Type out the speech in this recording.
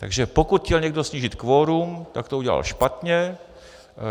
Takže pokud chtěl někdo snížit kvorum, tak to udělal špatně.